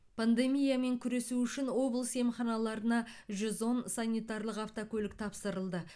пандемиямен күресу үшін облыс емханаларына жүз он санитарлық автокөлік тапсырылды